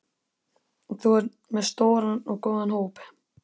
Þú ert með stóran og góðan hóp?